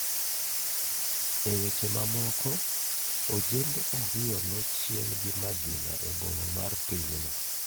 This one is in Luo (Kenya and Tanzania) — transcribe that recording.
E weche mamoko ojende ariyo nochiel gi magina e boma mar pinyno